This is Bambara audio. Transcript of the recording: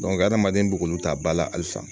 adamaden bɛ k'olu ta ba la halisa